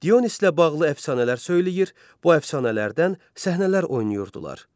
Dionislə bağlı əfsanələr söyləyir, bu əfsanələrdən səhnələr oynayırdılar.